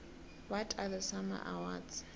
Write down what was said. what are the sama awards